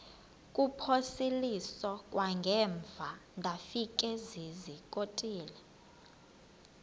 kuphosiliso kwangaemva ndafikezizikotile